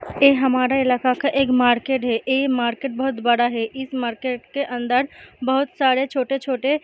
एह हमारा इलाका का एक मार्केट है। एह मार्केट बोहोत बड़ा है। इस मार्केट के अंदर बोहोत सारे छोटे-छोटे --